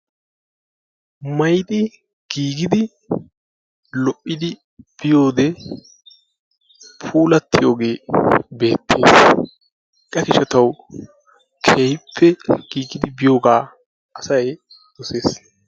Maayyidi giigidi lo''idi kiyyiyoode puulatiyooge beettees, hega gishshataw keehippe giigidi biyyiyooga asay dossees.